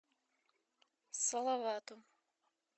салавату